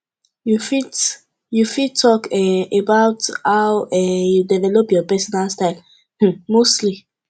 you fit you fit talk um about how um you develop your pesinal style um mostly